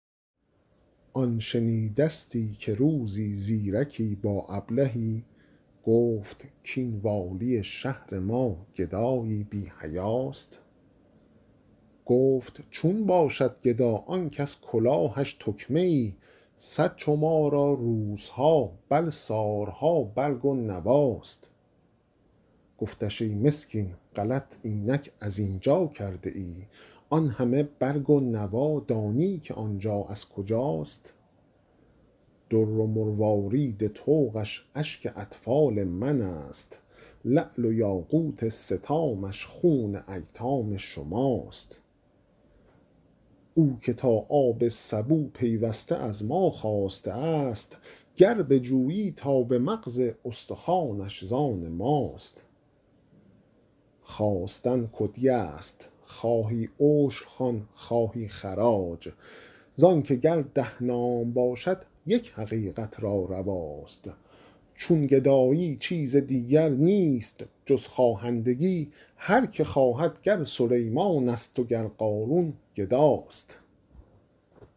آن شنیدستی که روزی زیرکی با ابلهی گفت کین والی شهر ما گدایی بی حیاست گفت چون باشد گدا آن کز کلاهش تکمه ای صد چو ما را روزها بل سال ها برگ و نواست گفتش ای مسکین غلط اینک از اینجا کرده ای آن همه برگ و نوا دانی که آنجا از کجاست در و مروارید طوقش اشک اطفال منست لعل و یاقوت ستامش خون ایتام شماست او که تا آب سبو پیوسته از ما خواسته است گر بجویی تا به مغز استخوانش زان ماست خواستن کدیه است خواهی عشر خوان خواهی خراج زانکه گر ده نام باشد یک حقیقت را رواست چون گدایی چیز دیگر نیست جز خواهندگی هرکه خواهد گر سلیمانست و گر قارون گداست